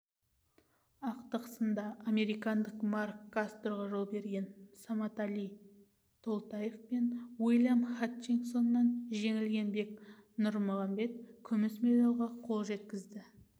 ақтық сында американдық марк кастроға жол берген саматали толтаев пен уильям хатчинсоннан жеңілген бек нұрмағанбет күміс медальға қол жеткізді